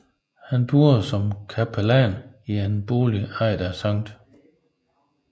Han boede som capellan i en bolig ejet af Sct